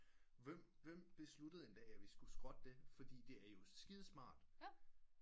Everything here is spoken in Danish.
Hvem beslutted en dag at vi skulle skrotte det fordi det er jo skide smart